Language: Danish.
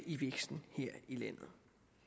i væksten her i landet